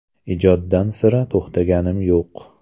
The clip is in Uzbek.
Ijoddan sira to‘xtaganim yo‘q.